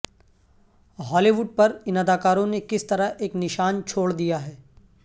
ہالی ووڈ پر ان اداکاروں نے کس طرح ایک نشان چھوڑ دیا ہے